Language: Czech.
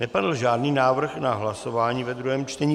Nepadl žádný návrh na hlasování ve druhém čtení.